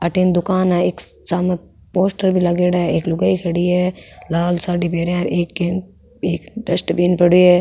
अठे न दुकान है एक सामने पोस्टर भी लगेड़ा है एक लुगाई खडी है लाल साड़ी पहरया है और बिन एक डस्टबिन पड़ेया है।